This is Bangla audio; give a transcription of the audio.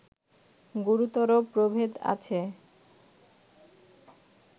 গুরুতর প্রভেদ আছে